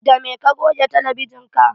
Da me ka goge talabijin ka?